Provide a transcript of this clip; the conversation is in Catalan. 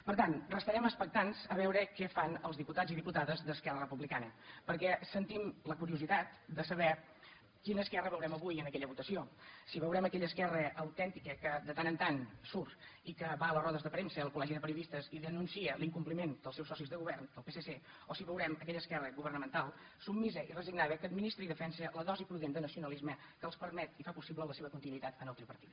per tant restarem expectants a veure què fan els diputats i diputades d’esquerra republicana perquè sentim la curiositat de saber quina esquerra veurem avui en aquella votació si veurem aquella esquerra autèntica que de tant en tant surt i que va a les rodes de premsa al col·legi de periodistes i denuncia l’incompliment dels seus socis de govern del psc o si veurem aquella esquerra governamental submisa i resignada que administra i defensa la dosi prudent de nacionalisme que els permet i fa possible la seva continuïtat en el tripartit